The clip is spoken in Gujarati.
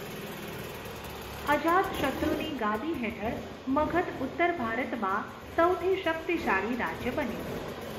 અજાતશત્રુની ગાદી હેઠળ મગધ ઉત્તર ભારતમાં સૌથી શક્તિશાળી રાજ્ય બન્યું.